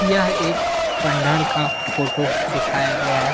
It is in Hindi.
यह एक पंडाल का फोटो दिखाया गया है।